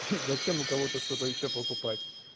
зачем у кого-то что-то ещё покупать